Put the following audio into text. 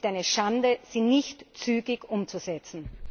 Es ist eine Schande, sie nicht zügig umzusetzen.